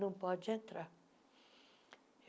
Não pode entrar.